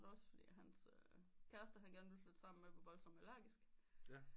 Også fordi hans kæreste han gerne ville flytte sammen med var voldsom allergisk